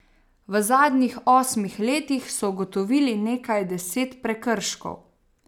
V zadnjih osmih letih so ugotovili nekaj deset prekrškov.